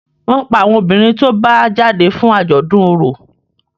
wón pá àwọn obìrin tó bá jáde fún ajọdun ọrọ.